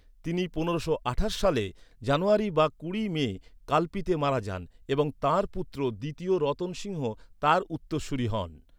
তিনি পনেরোশো আঠাশ সালের জানুয়ারী বা কুড়ি মে কাল্পিতে মারা যান এবং তাঁর পুত্র দ্বিতীয় রতন সিংহ তাঁর উত্তরসূরী হন।